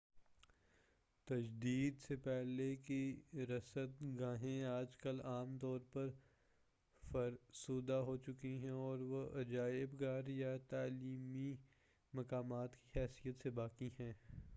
تجدید سے پہلے کی رصد گاہیں آج کل عام طور پر فرسودہ ہوچکی ہیں اور وہ عجائب گھر یا تعلیمی مقامات کی حیثیت سے باقی ہیں